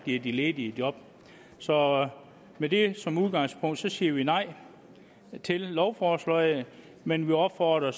giver de ledige job så med det som udgangspunkt siger vi nej til lovforslaget men vi opfordrer